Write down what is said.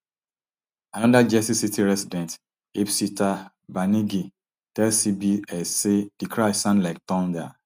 anoda jersey city resident ipsitaa banigrhi tell cbs say di crash sound like thunder